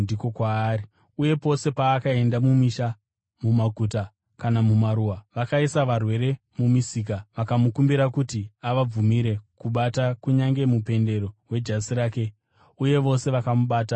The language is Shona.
Uye pose paakaenda mumisha, mumaguta kana mumaruwa, vakaisa varwere mumisika. Vakamukumbira kuti avabvumire kubata kunyange mupendero wejasi rake, uye vose vakamubata vakaporeswa.